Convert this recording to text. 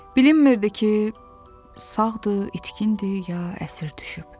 Bilinmirdi ki, sağdır, itkindir, ya əsir düşüb.